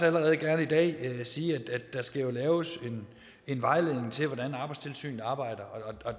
allerede gerne i dag sige at der skal laves en vejledning til hvordan arbejdstilsynet arbejder og